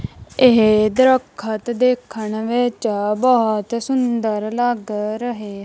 ਇਹ ਦਰਖਤ ਦੇਖਣ ਵਿੱਚ ਬਹੁਤ ਸੁੰਦਰ ਲੱਗ ਰਹੇ--